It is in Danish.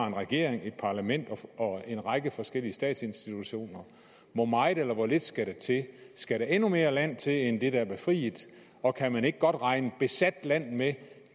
en regering et parlament og en række forskellige statsinstitutioner hvor meget eller hvor lidt skal der til skal der endnu mere land til end det der er befriet og kan man ikke godt regne besat land med